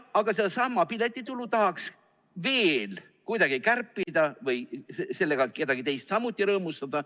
Aga sedasama piletitulu tahaks veel kuidagi kärpida või sellega kedagi teist samuti rõõmustada.